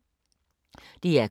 DR K